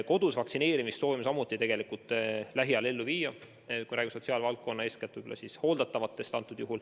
Kodus vaktsineerimist soovime samuti hakata lähiajal ellu viima, kui räägime sotsiaalvaldkonnast, eeskätt võib-olla hooldatavatest.